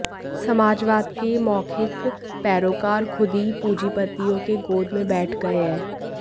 समाजवाद के यह मौखिक पैरोकार खूद ही पूंजीपतियों के गोद में बैठ गए है